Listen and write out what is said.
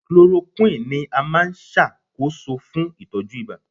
Chloroquine ni a nṣakoso fun itọju iba